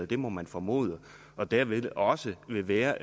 det må man formode og dermed også vil være